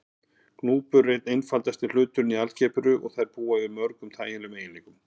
Grúpur eru einn einfaldasti hluturinn í algebru og þær búa yfir mörgum þægilegum eiginleikum.